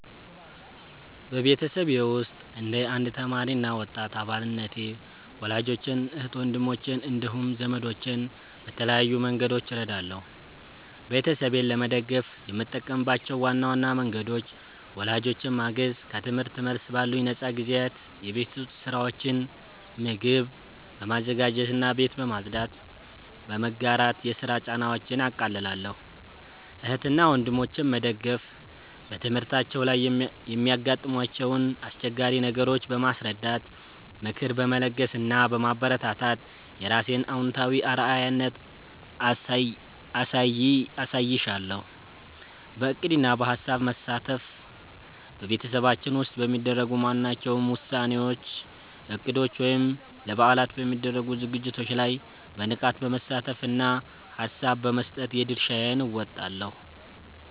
በቤተሰቤ ውስጥ እንደ አንድ ተማሪ እና ወጣት አባልነቴ ወላጆቼን፣ እህትና ወንድሞቼን እንዲሁም ዘመዶቼን በተለያዩ መንገዶች እረዳለሁ። ቤተሰቤን ለመደገፍ የምጠቀምባቸው ዋና ዋና መንገዶች፦ ወላጆቼን ማገዝ፦ ከትምህርት መልስ ባሉኝ ነፃ ጊዜያት የቤት ውስጥ ሥራዎችን (ምግብ በማዘጋጀትና ቤት በማጽዳት) በመጋራት የሥራ ጫናቸውን አቃልላለሁ። እህትና ወንድሞቼን መደገፍ፦ በትምህርታቸው ላይ የሚያጋጥሟቸውን አስቸጋሪ ነገሮች በማስረዳት፣ ምክር በመለገስ እና በማበረታታት የራሴን አዎንታዊ አርአያነት አሳይሻለሁ። በዕቅድና በሐሳብ መሳተፍ፦ በቤተሰባችን ውስጥ በሚደረጉ ማናቸውም ውሳኔዎች፣ እቅዶች ወይም ለበዓላት በሚደረጉ ዝግጅቶች ላይ በንቃት በመሳተፍና ሐሳብ በመስጠት የድርሻዬን እወጣለሁ።